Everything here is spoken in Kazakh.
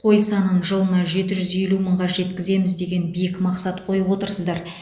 қой санын жылына жеті жүз елу мыңға жеткіземіз деген биік мақсат қойып отырсыздар